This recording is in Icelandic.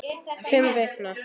Fimm vikna